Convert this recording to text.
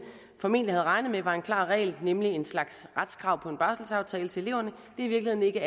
formentlig havde regnet med var en klar regel nemlig en slags retskrav på en barselsaftale til eleverne i virkeligheden ikke